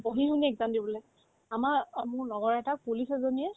পঢ়ি-শুনি exam দিবলে আমাৰ অ মোৰ লগৰ এটাক police এজনীয়ে